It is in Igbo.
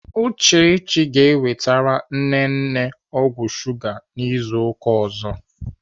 Uchechi ga-ewetere nne nne ọgwụ shuga izu ụka ọzọ.